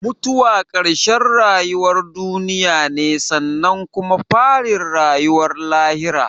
Mutuwa karshen rayuwar duniya ne sannan kuma farin rayuwar lahira